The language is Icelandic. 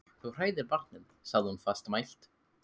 Þú hræðir barnið, sagði hún fastmælt.